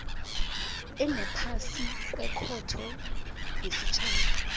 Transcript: engaphasi kwekhotho yesitjhaba